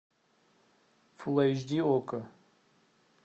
фул эйч ди окко